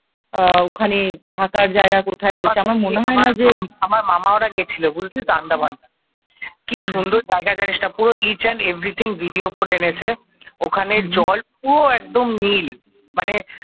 আমার মামারা গেছিল বুঝলি তো আন্দামান কি সুন্দর জায়গা জানিস না পুরো এইচ এন্ড এভরিথিং ভিডিও করে এনেছে ওখানে জল পুরো একদম নীল মানে